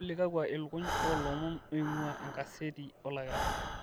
olly kakua ilukuny oolomon oing'ua enkaseti olakira